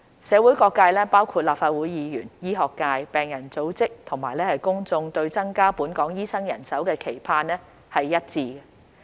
社會各界包括立法會議員、醫學界、病人組織及公眾對增加本港醫生人手的期盼是一致的。